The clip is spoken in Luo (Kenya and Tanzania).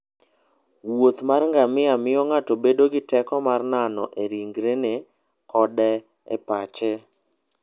wuoth mar ngamia miyo ng'ato bedo gi teko mar nano e ringrene koda e pache.